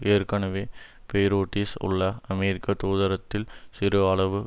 ஏற்கனவே பெய்ரூட்டீஸ் உள்ள அமெரிக்க தூதரகத்தில் சிறு அளவு